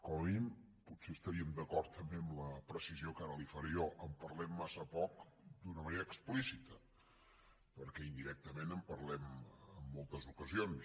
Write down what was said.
com a mínim potser estaríem d’acord també amb la precisió que ara li faré jo en parlem massa poc d’una manera explícita perquè indirectament en parlem en moltes ocasions